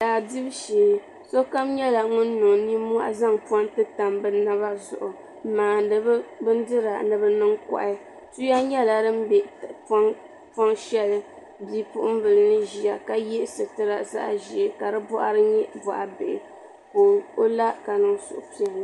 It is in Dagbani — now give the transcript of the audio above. Daa dibu shee sokam niŋla nimmohi n zaŋ ponti tam bi naba zuɣu n maandi bi Bindira ni bi niŋ kohi tuya nyɛla din bɛ poŋ shɛli bipuɣunbili ni ʒiya ka yɛ sitira zaɣ ʒiɛ ka di boɣari nyɛ boɣa bihi ka o la ka niŋ suhupiɛlli